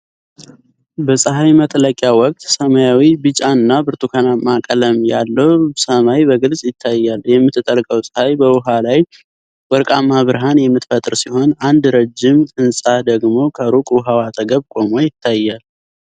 በፀሐይ መጥለቂያ ወቅት ሰማያዊ፣ ቢጫ እና ብርቱካናማ ቀለም ያለው ሰማይ በግልጽ ይታያል። የምትጠልቀው ፀሐይ በውሃ ላይ ወርቃማ ብርሃን የምትፈጥር ሲሆን፣ አንድ ረዥም ህንፃ ደግሞ ከሩቅ ውሃው አጠገብ ቆሞ ይታያል።